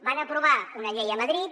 van aprovar una llei a madrid